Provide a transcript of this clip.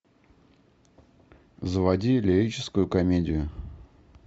заводи лирическую комедию